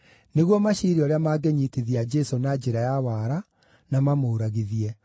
nĩguo maciire ũrĩa mangĩnyiitithia Jesũ na njĩra ya wara, na mamũũragithie.